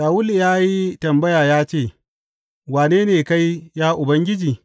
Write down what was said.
Shawulu ya yi tambaya ya ce, Wane ne kai, ya Ubangiji?